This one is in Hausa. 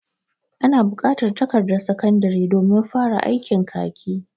Ana bukatar takardan sakandari domin fara aikin kaki.